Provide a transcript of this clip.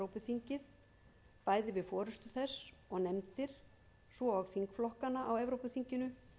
dæmis í hlut alþingis að sinna samskiptum við evrópuþingið bæði við forustu þess og nefndir svo og þingflokkana á evrópuþinginu